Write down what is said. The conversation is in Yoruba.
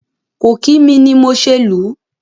Kò kí mi ni mo ṣe lù ú.